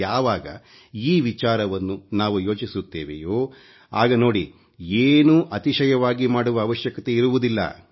ಯಾವಾಗ ಈ ವಿಚಾರವನ್ನು ನಾವು ಯೋಚಿಸುತ್ತವೆಯೋ ಆಗ ನೋಡಿ ಏನೂ ಅತಿಶಯವಾಗಿ ಮಾಡುವ ಅವಶ್ಯಕತೆ ಇರುವುದಿಲ್ಲ